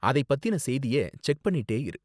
அதை பத்தின செய்திய செக் பண்ணிட்டே இரு.